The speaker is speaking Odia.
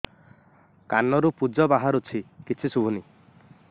କାନରୁ ପୂଜ ବାହାରୁଛି କିଛି ଶୁଭୁନି